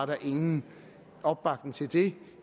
der ingen opbakning var til det